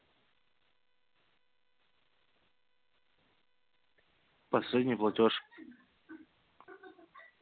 последний платёж